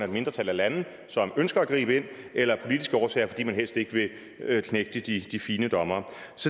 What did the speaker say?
mindretal af lande som ønsker at gribe ind eller af politiske årsager fordi man helst ikke vil knægte de fine dommere